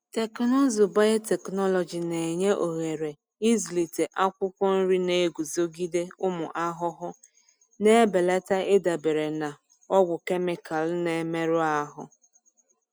Teknụzụ biotechnology na-enye ohere ịzụlite akwụkwọ nri na-eguzogide ụmụ ahụhụ, na-ebelata ịdabere na ọgwụ kemịkalụ na-emerụ ahụ.